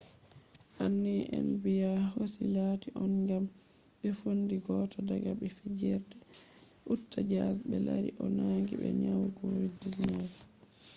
anniya nba hosi latti on ŋam ɓe fondi goto daga ɓi fijerde je uta jaz ɓe lari o nangi be nyau kovid-19